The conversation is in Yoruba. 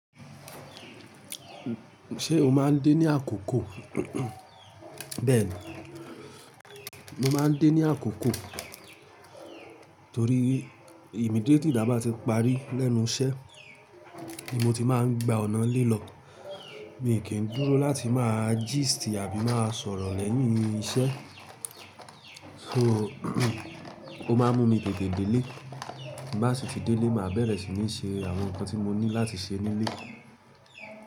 Ṣé o máa ń dé ní àkókò? Bẹ́ẹ̀ni, mo máa ń dé ní àkókò torí immediately tá bá ti parí lẹ́nu iṣẹ́ ni mo ti máa ń gba ọ̀nà lé lọ. Mi kì í dúró láti máa gist àbí máa sọ̀rọ̀ lẹ́yìn iṣẹ́. So ó máa ń mú mi tète dè lé. Tí n bá sì ti dé lé, màá bẹ̀rẹ̀ sì ní ṣe àwọn nǹkan tí mo ní láti ṣe nílé.